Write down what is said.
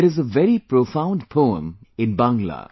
There is a very profound poemin Bangla